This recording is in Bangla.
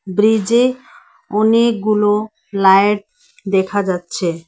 ব্রিজে অনেকগুলো লায়েট দেখা যাচ্ছে।